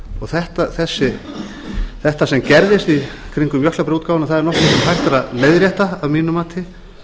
þetta sem gerðist í kringum jöklabréfaútgáfuna er nokkuð sem hægt er að leiðrétta að mínu mati